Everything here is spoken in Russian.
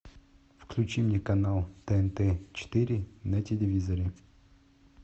включи мне канал тнт четыре на телевизоре